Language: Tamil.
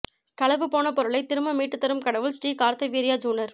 களவு போன பொருளை திரும்ப மீட்டு தரும் கடவுள் ஸ்ரீ கார்த்தவீர்யாஜுனர்